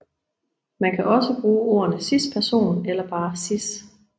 Man kan også bruge ordene cisperson eller bare cis